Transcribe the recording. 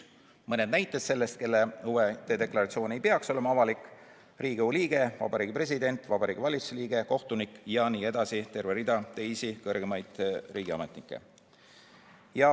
Mõni näide sellest, kelle huvide deklaratsioon ei peaks olema avalik: Riigikogu liige, Vabariigi President, Vabariigi Valitsuse liige, kohtunik jne – terve rida teisi kõrgemaid riigiametnikke.